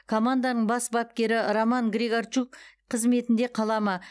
команданың бас бапкері роман григорчук қызметінде қала ма